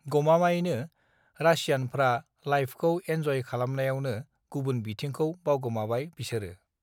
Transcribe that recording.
गमामायैनो रासियानफ्रा लाइफखौ एन्जय खालामनायावनो गुबुन बिथिंखौ बावगोमाबाय बिसोरो